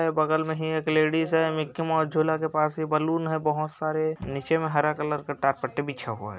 बगल में ही एक लेडीज़ है मिक्की माउस झूला के पास ये बलून है बहुत सारे नीचे में हरा कलर का टाटपट्टी बिछा हुआ है।